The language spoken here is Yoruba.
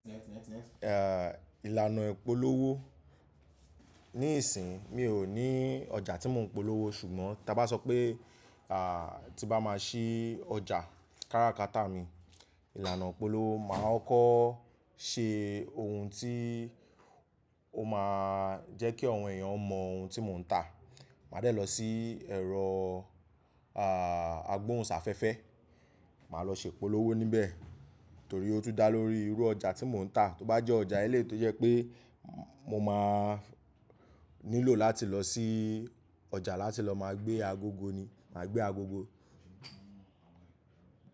Eh, ìlànà ìpolówó. Ní ìsìn mi ò ní ọjà tí mò ń polówó ṣùgbọ́n ta bá sọ pé, à tí bá máa ṣí ọjà káràkátà mi, ìlànà ìpolówó máa kọ́ko ṣe ohun tí ó máa jẹ́kí àwọn èèyàn mọ ohun tí mò ń tà. Màá dẹ̀ lọ sí ẹ̀rọ ah agbóhùn sáfẹ́fẹ́, màá lọ ṣepolówó níbẹ̀ torí ó tún dá lórí irú ọjà tí mò ń tà. Tó bá jẹ́ ọjà eléyi to jẹ́ pé mo máa nílò láti lọ sí ọjà láti lọ máa gbé agogo ni, màá gbé agogo.